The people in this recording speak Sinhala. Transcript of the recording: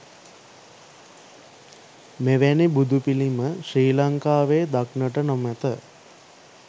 මෙවැනි බුදුපිළිම ශ්‍රී ලංකාවේ දක්නට නොමැත